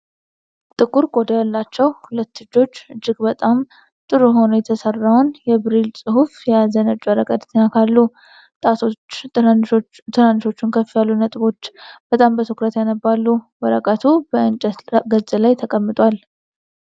ጥቁር ቆዳ ያላቸው ሁለት እጆች እጅግ በጣም ጥሩ ሆኖ የተሰራውን የብሬይል ጽሑፍ የያዘ ነጭ ወረቀት ይነካሉ። ጣቶች ትንንሾቹን ከፍ ያሉ ነጥቦችን በጣም በትኩረት ያነባሉ። ወረቀቱ በእንጨት ገጽ ላይ ተቀምጧል።